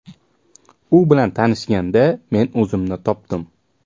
U bilan tanishganda, men o‘zimni topdim.